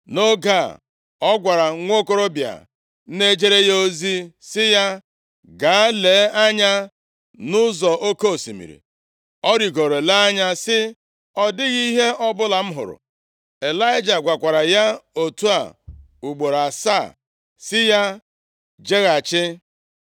Nʼoge a, ọ gwara nwokorobịa na-ejere ya ozi sị ya, “Gaa lee anya nʼụzọ oke osimiri.” Ọ rịgoro lee anya, sị, “Ọ dịghị ihe ọbụla m hụrụ.” Ịlaịja gwakwara ya otu a, ugboro asaa, sị ya, “Jeghachi.”